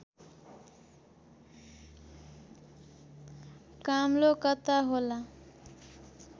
काम्लो कता होला